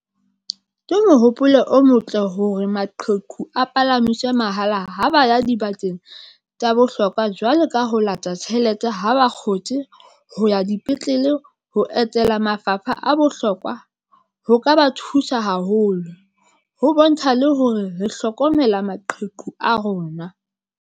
Ke mohopolo o motle hore maqheku a palamiswe mahala ha ba ya di bakeng tsa bohlokwa, jwalo ka ho lata tjhelete ha bakgotsi ho ya ya dipetlele. Ho etela mafapha a bohlokwa ho ka ba thusa haholo ho bontsha le hore re hlokomela maqheku a rona.